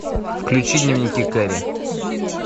включи дневники кэрри